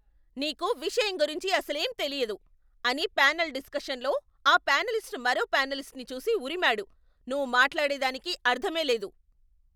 నీకు విషయం గురించి అసలేం తెలియదు, అని ప్యానెల్ డిస్కషన్లో ఆ ప్యానేలిస్ట్ మరో ప్యానేలిస్ట్ని చూసి ఉరిమాడు, నువ్వు మాట్లాడే దానికి అర్థమే లేదు.